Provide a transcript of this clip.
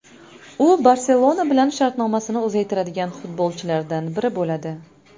U ‘Barselona’ bilan shartnomasini uzaytiradigan futbolchilardan biri bo‘ladi.